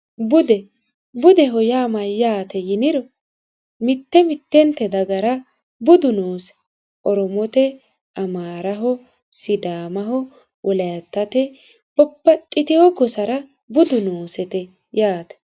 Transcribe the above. bude budeho yaa mayyaate yiniro mitte mitteente dagara budu noose oromote amaaraho sidaamaho wolitate babaxxitino gosara budu noosete yaate